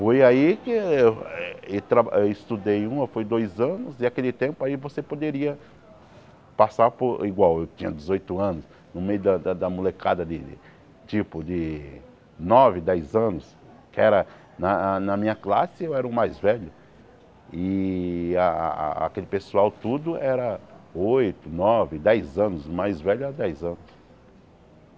Foi aí que eu eh traba eu estudei um ou, foi dois anos, e naquele tempo aí você poderia passar por... igual, eu tinha dezoito anos, no meio da da da molecada de de tipo de nove, dez anos, que na na minha classe eu era o mais velho, e a a aquele pessoal tudo era oito, nove, dez anos, o mais velho era dez anos.